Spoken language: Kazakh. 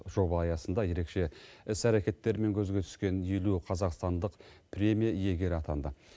жоба аясында ерекше іс әрекеттерімен көзге түскен елу қазақстандық премия иегері атанды